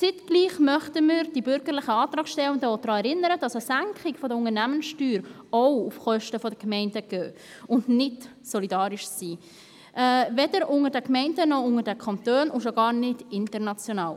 Gleichzeitig möchten wir die bürgerlichen Antragstellenden auch daran erinnern, dass eine Senkung der Unternehmenssteuer auch auf Kosten der Gemeinden geht und nicht solidarisch ist – weder unter den Gemeinden noch unter den Kantonen und schon gar nicht international.